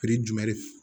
jumɛn de